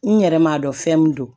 N yɛrɛ m'a dɔn fɛn min don